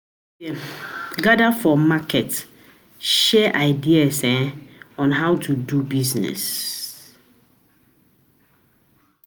We dey um gather for um market, share ideas on how um to do to do business.